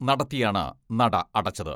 നടത്തിയാണ് നട അടച്ചത്.